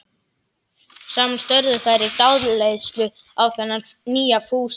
Saman störðu þær í dáleiðslu á þennan nýja Fúsa.